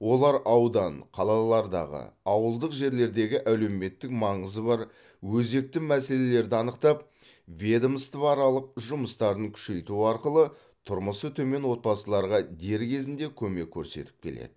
олар аудан қалалардағы ауылдық жерлердегі әлеуметтік маңызы бар өзекті мәселелерді анықтап ведомствоаралық жұмыстарын күшейту арқылы тұрмысы төмен отбасыларға дер кезінде көмек көрсетіп келеді